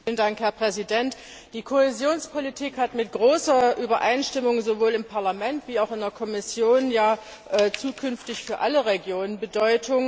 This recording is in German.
Herr Präsident! Die Kohäsionspolitik hat mit großer Übereinstimmung, sowohl im Parlament als auch in der Kommission, ja zukünftig für alle Regionen Bedeutung.